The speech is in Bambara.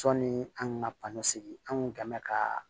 Sɔɔni an ka pasɔn an kun kan ka